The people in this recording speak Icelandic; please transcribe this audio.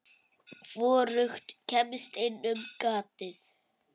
Hvorugt kemst inn um gatið.